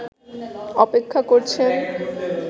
অপেক্ষা করছেন